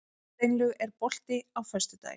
Steinlaug, er bolti á föstudaginn?